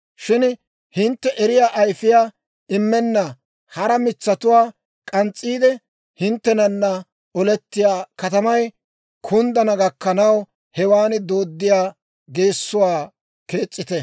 Shin hintte eriyaa ayfiyaa immenna hara mitsatuwaa k'ans's'iide, hinttenana olettiyaa katamay kunddana gakkanaw, hewan dooddiyaa geessuwaa kees's'ite.